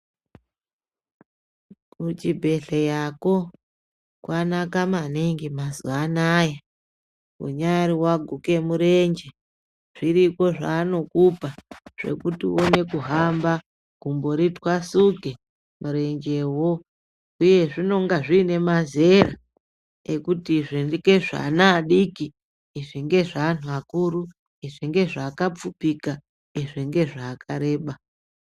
Kuchibhedhleyako kwanaka maningi mazuva anaya, unyaari waguke murenje zviriko zvaanokupa zvekuti uone kuhamba. Gumbo ritwasuke murenjewo . Huye zvinenge zviine mazera ekuti izvi ngezveana adiki, izvi ngezveanhu akuru. Izvi ngezveakapfupika, izvi ngezveakareba.